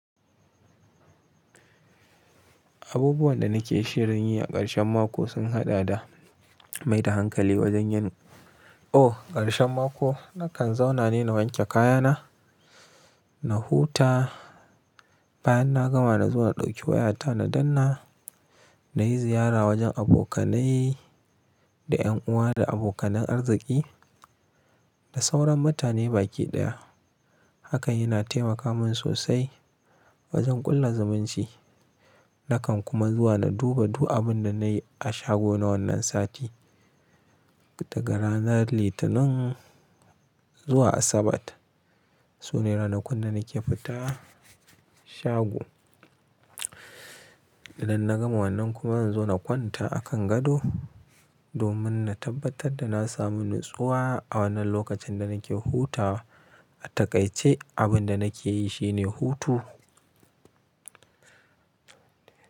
Abubuwan da nake shirin yi a ƙarshen mako sun haɗa da, mai da hankali wajen yin, Ooh ƙarshen mako nakan zauna ne na wanke kayana, na huta. Bayan na gama na zo na ɗauki wayata na danna, na yi ziyara wajen abokanai da ƴan uwa da abokanan arziki da sauran mutane baki ɗaya. Haka yana taimaka min sosai wajen ƙulla zumunci. Nakan kuma zuwa na duba du abin da na yi a shago na wannan sati. Daga ranar Litinin zuwa Asabar sune ranakun da nake fita shago. Idan na gama wannan kuma zan zo na kwanta a kan gado domin na tabbatar da na samu natsuwa a wannan lokacin da nake hutawa. A takaice abin da nake yi shine hutu.